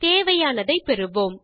தேவையானதை பெறுவோம்